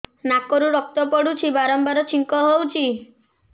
ନାକରୁ ରକ୍ତ ପଡୁଛି ବାରମ୍ବାର ଛିଙ୍କ ହଉଚି